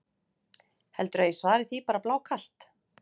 Heldurðu að ég svari því bara blákalt?